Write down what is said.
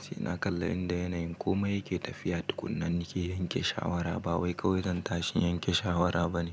Sai na kalla inda yanayin komai yake tafiya tukunna nake yanke shawara, ba wai kaiwai zan tashin yanke shawara bane.